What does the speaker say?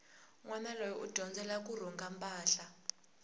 nwana loyi u dyondzela kurhunga mpahla